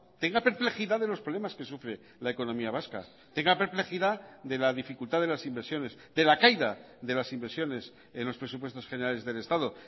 tenga perplejidad de los problemas que sufre la economía vasca tenga perplejidad de la dificultad de las inversiones de la caída de las inversiones en los presupuestos generales del estado